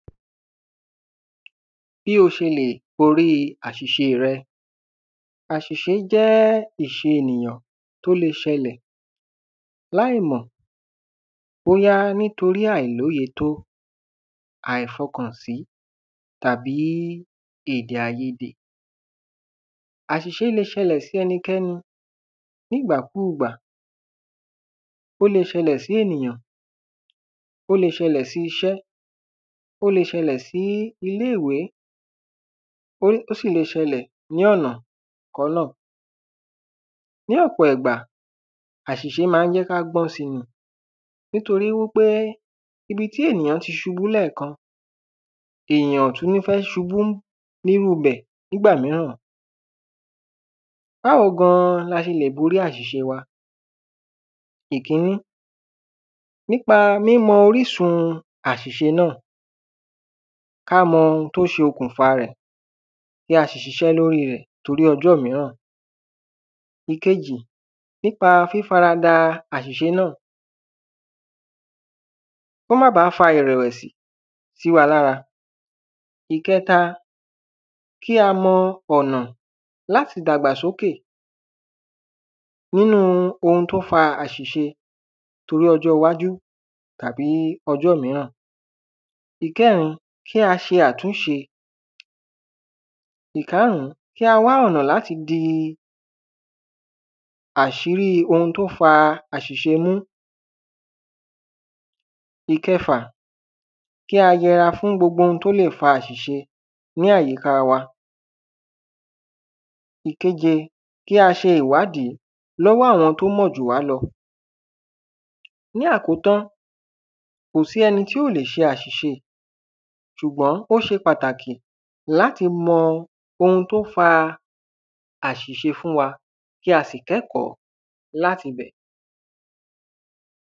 Bí o ṣẹlẹ̀, borí àṣìṣe rẹ, àṣìṣe jẹ́ ìṣe ènìyàn, tí ó ṣẹlẹ̀, láì mọ̀, bóyá nítorí àìlóye tó, àìfọkàn sí, tàbí èdè àìyedè. Àṣìṣe le ṣẹlẹ̀ sí ẹnikẹ́ni, nígbà kugbà, ó le ṣẹlẹ̀ sí ènìyàn, ó le ṣẹlẹ̀ sí ìṣé, ó le ṣẹlẹ̀ sí ilé-ìwé, ó sì le ṣẹlẹ̀ ní ọ̀nà kọ́nà. Ní ọ̀pọ̀ ìgbà, àṣìṣe ma ń jẹ́ kí á gbọ́n si ni. Nítorí wípé ibití èyàn ti ṣubú ní ẹ̀kan, èyàn ò tún ní fẹ́ ṣubú ní ru bẹ̀, nígbà míràn. Báwo gan l’ase lè borí àṣìṣe wa: Ìkíní, nípa mímọ orísun àṣìṣe náà, ká mọ oun tó se okùn fa rẹ̀, tí a sì ṣiṣẹ́ lóri rẹ̀, torí ọjọ́ míràn. Ìkejì, nípa fífarada àṣìṣe náà, kó má bà fa ìrẹ̀wẹ̀sì sí wa lára. Ìkẹta, kí a mọ ọ̀nà láti dàgbà sókè nínu ohun tó fa àṣìṣe, torí ọjọ́ iwájú tàbí ọjọ́ míràn. Ìkẹrin, kí a ṣe àtúnṣe. Ìkáàrún, kí a wà ọ̀nà láti di àṣírí ohun tó fa àṣìṣe mú. Ìkẹfà, kí a yẹra fún gbogbo oun tó lè fa àṣìṣe ní àyíká wa. Ìkeje, kí a ṣe ìwádìí lọ́wọ́ àwọn tó mọ̀ jù wá lọ. Ní àkótán, kò sí ẹni tí ò le ṣe àṣìṣe, ṣùgbọ́n ó ṣe pàtàkì láti mọ ohun tó fa àṣìṣe fún wa. Kí a sì kẹ́kọ̀ọ́ láti bẹ̀.